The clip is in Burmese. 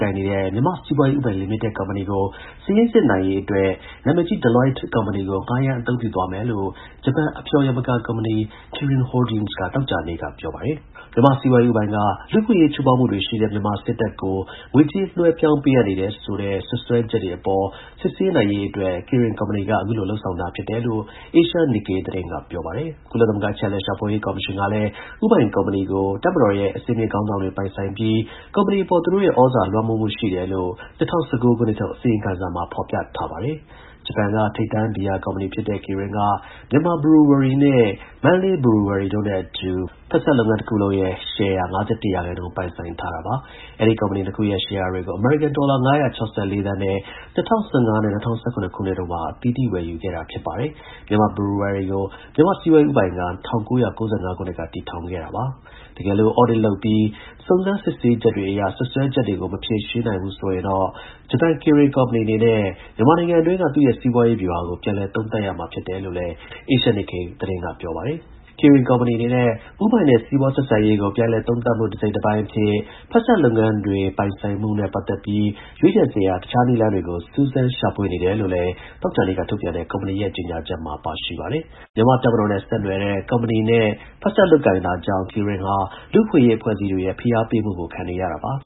ကိုင်နေတဲ့ မြန်မာ့ စီးပွားရေး ဦးပိုင်လိမိတက် ကုမ္ပဏီကို စာရင်းစစ်နိုင်ရေး အတွက် နာမည်ကြီး Deloitteကုမ္ပဏီကို ငှားရမ်းအသုံးပြုသွားမယ်လို့ ဂျပန် အဖျော် ယမကာ ကုမ္ပဏီ Kirin Holdings က သောကြာနေ့က ပြောပါတယ်။ မြန်မာ့ စီးပွားရေး ဦးပိုင်က လူ့အခွင့်အရေး ချိုးဖောက်မှုတွေ ရှိတဲ့ မြန်မာစစ်တပ်ကို ငွေကြေး လွှဲပြောင်းပေးအပ်နေတယ်ဆိုတဲ့ စွပ်စွဲ ချက်တွေအပေါ် စစ်ဆေးနိုင်ရေးအတွက် KIRIN ကုမ္ပဏီက အခုလို လုပ်ဆောင်တာဖြစ်တယ်လို့ Asia Nikkei သတင်း ကပြောပါတယ်။ ကုလသမဂ္ဂ အချက်အလက် ရှာဖွေရေးကော်မရှင်ကလည်း ဦးပိုင်ကုမ္ပဏီကို တပ်မတော်ရဲ့ အဆင့်မြင့်ခေါင်းဆောင်တွေ ပိုင်ဆိုင်ပြီး ကုမ္ပဏီအပေါ် သူတို့ရဲ့ ဩဇာလွှမ်းမိုးမှုရှိတယ်လို့လည်း ၂၀၁၉ ခုနှစ်ထုတ် အစီရင်ခံစာမှာ ဖော်ပြထားပါတယ်။ ဂျပန်က ထိပ်တန်း ဘီယာကုမ္ပဏီဖြစ်တဲ့ KIRIN က Myanmar Brewery နဲ့Mandalay Brewery တို့နဲ့အတူ ဖက်စပ်လုပ်ငန်းရဲ့ ရှယ်ယာ ၅၁ ရာခိုင်နှုန်းပိုင်ဆိုင်ထားတာပါ။ အဲဒီ ကုမ္ပဏီ ၂ ခုရဲ့ ရှယ်ယာတွေကို အမေရိကန် ဒေါ်လာ ၅၆၄ သန်းနဲ့ ၂၀၁၅ နဲ့ ၂၀၁၇ တို့မှာ အသီးသီး ဝယ်ယူထားခဲ့တာဖြစ်ပါတယ်။ Myanmar Brewery ကို မြန်မာ့စီးပွားရေး ဦးပိုင်က ၁၉၉၅ ခုနှစ်က တည်ထောင်ခဲ့တာပါ။ တကယ်လို့ Audit လုပ်ပြီး စုံစမ်းစစ်ဆေးချက်တွေအရ စွပ်စွဲချက်တွေကို မဖြေရှင်းနိုင်ဘူးဆိုရင်တော့ဂျပန် KIRIN ကုမ္ပဏီအနေနဲ့ မြန်မာနိုင်ငံအတွင်းက သူ့ရဲ့ စီးပွားရေး ဗျူဟာကို ပြန်လည် သုံးသပ်ရမှာလည်း ဖြစ်ပါတယ်။ KIRIN ကုမ္ပဏီအနေနဲ့ ဦးပိုင်နဲ့ စီးပွားဆက်ဆံရေးကို ပြန်လည် သုံးသပ်မှု တစိတ်တပိုင်း အဖြစ် ဖက်စပ်လုပ်ငန်းတွေကို ပိုင်ဆိုင်မှုနဲ့ ပတ်သက်ပြီးရွေးချယ်စရာ တစ်ခြားနည်းလမ်းတွေ ကို စူးစမ်း ရှာဖွေနေတယ်လို့လည်း သောကြာနေ့က ထုတ်ပြန်တဲ့ ကုမ္ပဏီရဲ့ ကြေညာချက်မှာ ပါရှိပါတယ်။ မြန်မာ့တပ်မတော်နဲ့ ဆက်နွယ်နေတဲ့ ကုမ္ပဏီနဲ့ ဖက်စပ်လုပ်ကိုင်တာကြောင့် KIRIN ဟာ လူ့အခွင့်အရေး အဖွဲ့ အစည်းတွေရဲ့ ဖိအားပေးမှုတွေကို ခံနေရတာပါ။